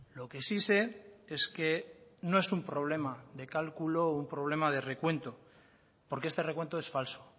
lo que sí sé es que no es un problema de cálculo o un problema de recuento porque este recuento es falso